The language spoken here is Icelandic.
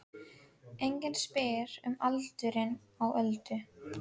Enginn spyr um aldurinn á Öldu.